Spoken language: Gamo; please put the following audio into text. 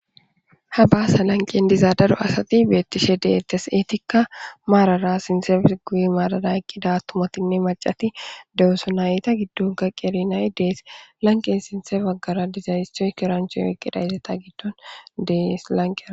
Ha baasa lanqen diza daro asati beettishe deettes eetikka maarara sinsefes guyi maarara eqqida tumotinne macati dewusonayta giddunka qerinayi dees lanqen sinse baggara dizaystoy kirancho yoqqida izeta giddon dees lanqear